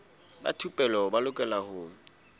ba thupelo ba lokela ho